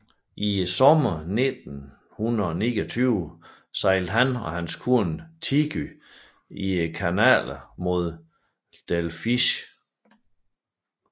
Sommeren 1929 sejlede han og hans kone Tigy i kanalerne mod Delfzijl